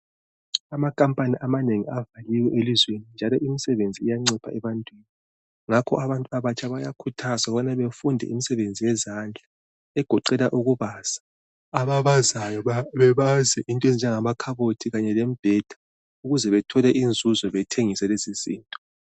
Amakhampani amanengi avaliwe elizweni njalo imisebenzi iyancipha ebantwini. Ngakho abantu abatsha bayakhuthazwa ukubana befunde imisebenzi yezandla egoqela ukubaza. Ababazayo bebaze into ezinjengamakhabothi kanye lembheda ukuze bethole izinto bethengise lezizinto.